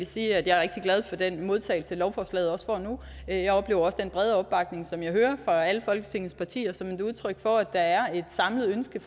sige at jeg er rigtig glad for den modtagelse som lovforslaget får nu jeg oplever også den brede opbakning som jeg hører fra alle folketingets partier som et udtryk for at der fortsat er et samlet ønske